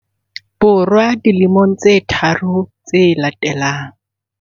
Bo rwa dilemong tse tharo tse latelang.